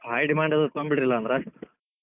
ಒಂದ್ ಸ್ವಲ್ಪ high demand ತೊಗೊಂಡಬಿಡ್ರಲಾ ಅದ್ರಾಗ.